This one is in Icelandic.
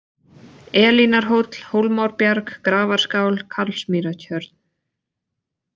Elínarhóll, Hólmárbjarg, Grafarskál, Karlsmýrartjörn